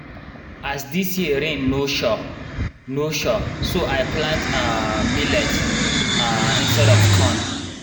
as dis year rain no sure rain no sure so i plant um millet um instead of corn.